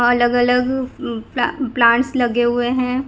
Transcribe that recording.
अलग अलग अह प्ला प्लांट्स लगे हुए हैं।